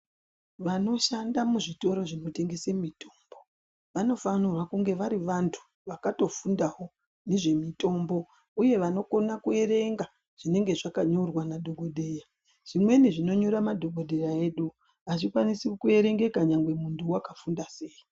Vanosha muzvitoro zvinotengesa mitombo vanofanirwa kungevari vantu vakatofundawo ngezve mutombo uye vanokona kuverenga zvinenge zvakanyorwa nadhogodheya zvimwe zvinonyora madhokodheya edu hwazvikwanisi kuverengeka nyangwe wakafunda sei.